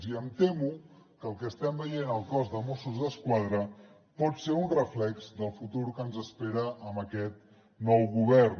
i em temo que el que estem veient al cos de mossos d’esquadra pot ser un reflex del futur que ens espera amb aquest nou govern